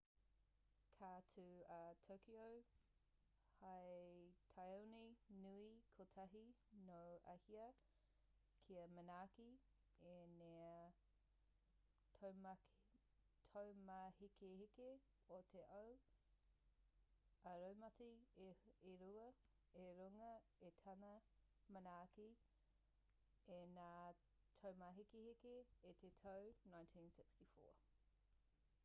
ka tū a tokyo hei tāone nui kotahi nō āhia kia manaaki i ngā taumāhekeheke o te ao ā-raumati e rua i runga i tana manaaki i ngā taumāhekeheke i te tau 1964